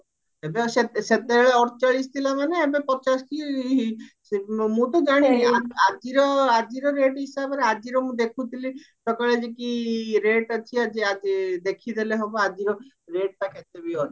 ଏବେ ଆଉ ସେତେବେଳେ ଅଡଚାଳିଶ ଥିଲା ମାନେ ଏବେ ପଚାଶେ କି ମୁଁ ତ ଜାଣିନି ଆଜିର ଆଜିର rate ହିସାବରେ ଆଜିର ମୁଁ ଦେଖୁଥିଲି ସକାଳେ ଯେକି rate ଅଛି ଆଜି ଦେଖିଦେଲେ ହବ ଆଜିର rate ଟା କେତେ ବି ଅଛି